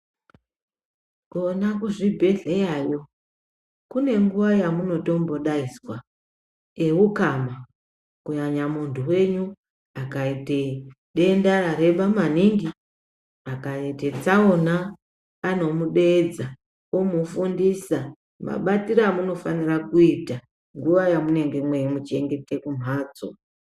Kona kuzvibhedhlerayo kunenguwa yamunotombodaidzwa eukama kunyanya muntu wenyu akaite denda rareba maningi, akaite tsaona anomudeedza omufundisa mabatire amunofanire kumuita munguwa yamunenge mweimuchengeta kumhatso.